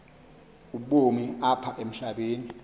ubomi apha emhlabeni